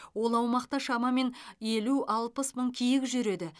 ол аумақта шамамен елу алпыс мың киік жүреді